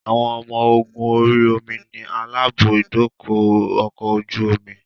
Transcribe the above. Àwọn ọmọ ogún orí omi ni aláàbò ibùdókọ̀ ọkọ̀ ojú omi